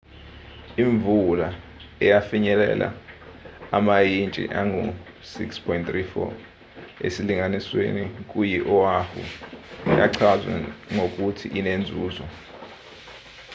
imvula eyafinyelela amayintshi angu-6.34 esilinganisweni kuyi oahu yachazwa ngokuthi inenzuzo